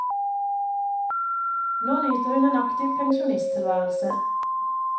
Nå nyter hun en aktiv pensjonisttilværelse.